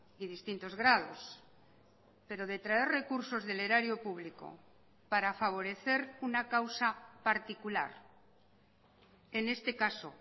y distintos grados pero detraer recursos del erario público para favorecer una causa particular en este caso